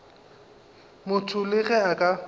motho le ge a ka